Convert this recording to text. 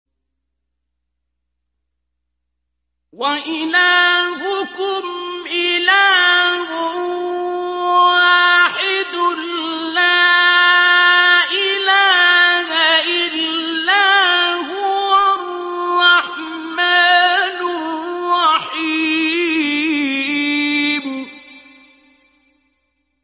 وَإِلَٰهُكُمْ إِلَٰهٌ وَاحِدٌ ۖ لَّا إِلَٰهَ إِلَّا هُوَ الرَّحْمَٰنُ الرَّحِيمُ